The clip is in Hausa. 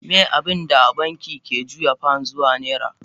Miye abinda banki ke juya pounds zuwa naira?